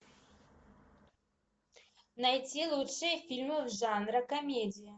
найти лучшие фильмы жанра комедия